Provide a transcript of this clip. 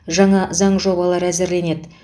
жаңа заң жобалары әзірленеді